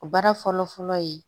O baara fɔlɔ fɔlɔ ye